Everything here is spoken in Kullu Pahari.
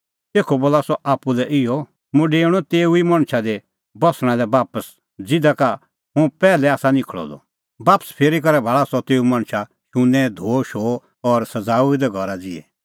तेखअ बोला सह आप्पू लै इहअ मुंह डेऊणअ तेऊ ई मणछा दी बस्सणा लै बापस ज़िधा का हुंह पैहलै आसा निखल़अ द बापस फिरी करै भाल़ा सह तेऊ मणछा शुन्नैं धोअशोअ और सज़ाऊऐ दै घरा ज़िहै